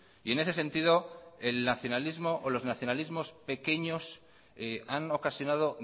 y en ese sentido los nacionalismos pequeños han ocasionado